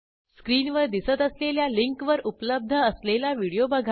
स्क्रीनवर दिसत असलेल्या लिंकवर उपलब्ध असलेला व्हिडिओ बघा